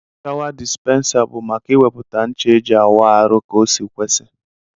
Showa despensa bu maka iweputa ncha eji awụ arụ ka osi kwesi.